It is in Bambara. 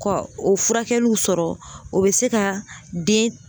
Ka o furakɛliw sɔrɔ , o be se ka den